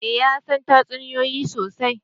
Eh ya san tatsuniyoyi sosai